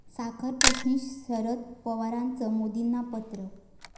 साखरप्रश्नी शरद पवारांचं मोदींना पत्र